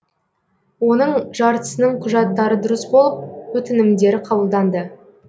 оның жартысының құжаттары дұрыс болып өтінімдері қабылданды